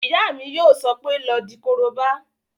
Ìyá mi yóò sọ pé "lọ di korobá!"